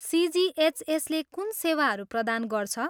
सिजिएचएसले कुन सेवाहरू प्रदान गर्छ?